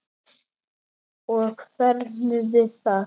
Og færðu það?